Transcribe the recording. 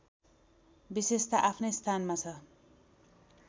विशेषता आफ्नै स्थानमा छ